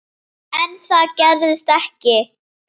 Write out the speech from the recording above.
En það gerist ekki.